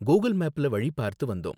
Google மேப்ல வழி பார்த்து வந்தோம்.